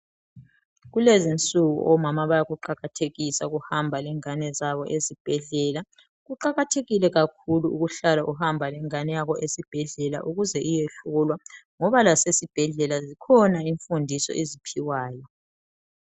Kulezinsuku omama bayakuqakathekisa ukuhamba lengane zabo ezibhedlela, kuqakathekile kakhulu ukuhlala ukuhamba lengane yakho esibhedlela ukuze iyehlolwa ngoba lasesibhedlela zikhona imfundo eziphiwayo